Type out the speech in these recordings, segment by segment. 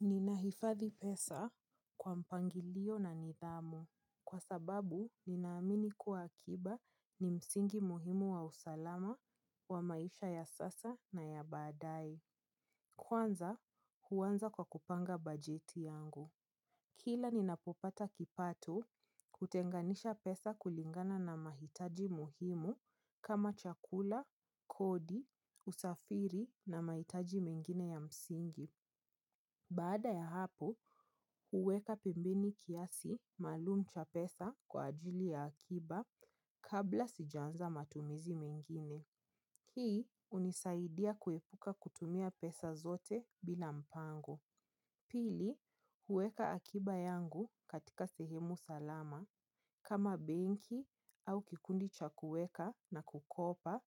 Ninaifadhi pesa kwa mpangilio na nidhamu. Kwa sababu, ninaamini kuwa akiba ni msingi muhimu wa usalama wa maisha ya sasa na ya baadae. Kwanza, huanza kwa kupanga bajeti yangu. Kila ninapopata kipato hutenganisha pesa kulingana na mahitaji muhimu kama chakula, kodi, usafiri na mahitaji mengine ya msingi. Baada ya hapo, huweka pembeni kiasi maalum cha pesa kwa ajili ya akiba kabla sijaanza matumizi mengine. Hii hunisaidia kuepuka kutumia pesa zote bina mpango. Pili, huweka akiba yangu katika sehemu salama kama benki au kikundi cha kuweka na kukopa.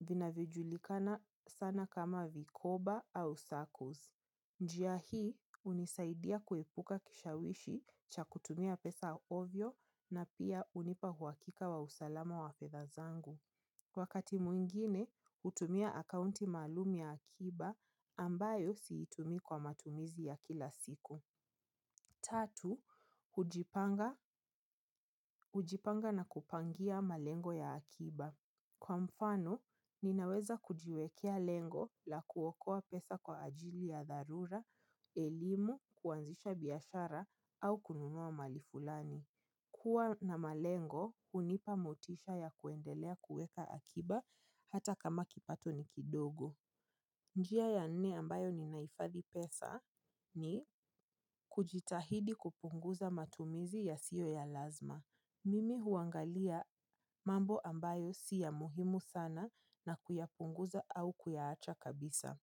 Vinajulikana sana kama vikoba au sarkoz. Njia hii, unisaidia kuepuka kishawishi cha kutumia pesa ovyo na pia hunipa uhakika wa usalama wa fedha zangu. Wakati mwingine, hutumia akaunti maalumu ya akiba ambayo siitumi kwa matumizi ya kila siku. Tatu, hujipanga na kupangia malengo ya akiba. Kwa mfano, ninaweza kujiwekea lengo la kuokoa pesa kwa ajili ya dharura, elimu, kuanzisha biashara au kununua mahali fulani. Kuwa na malengo, hunipa motisha ya kuendelea kueka akiba hata kama kipato ni kidogo. Njia ya nne ambayo ninaifadhi pesa ni kujitahidi kupunguza matumizi ya siyo ya lazma. Mimi huangalia mambo ambayo si ya muhimu sana na kuyapunguza au kuyaacha kabisa.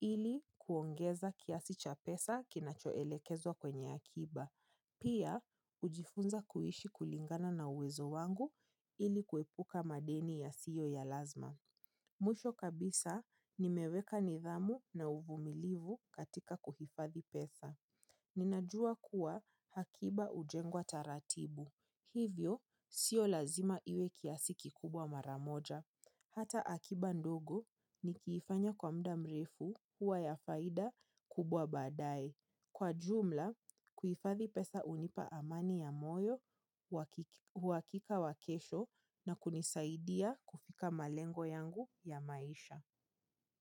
Ili kuongeza kiasi cha pesa kinachoelekezwa ka akiba. Pia, hujifunza kuishi kulingana na uwezo wangu ili kuepuka madeni ya siyo ya lazma. Mwisho kabisa, nimeweka nidhamu na uvumilivu katika kuhifadhi pesa. Ninajua kuwa akiba hujengwa taratibu. Hivyo, sio lazima iwe kiasi kikubwa mara moja. Hata akiba ndogo nikiifanya kwa muda mrefu huwa ya faida kubwa baadae. Kwa jumla, kuifathi pesa hunipa amani ya moyo, uhakika wa kesho na kunisaidia kufika malengo yangu ya maisha.